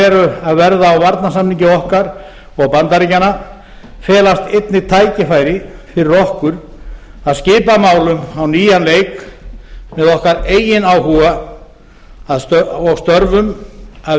eru að verða á varnarsamningi okkar og bandaríkjanna felast einnig tækifæri fyrir okkur að skipa málum á nýjan leik með okkar eigin áhuga og störfum að